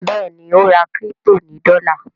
Béèni o rà crypto ní dola.